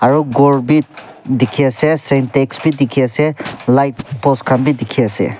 aru ghor bi dikhiase sentex bi dikhiase light post khan bi dikhiase.